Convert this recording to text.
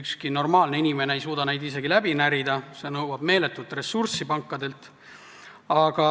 ükski normaalne inimene ei suuda neist läbi närida, see nõuab isegi pankadelt meeletut ressurssi.